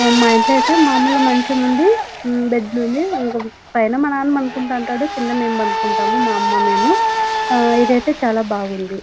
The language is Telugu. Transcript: మా ఇంట్లో ఐతే మాములు మంచం ఉంది బెడ్ లున్నాయి పైన మా నాన్నపండుకుంటావుంటాడు కింద మెం పండుకుంటాము మా అమ్మ మేము ఇది ఐతే చాల బాగుంది.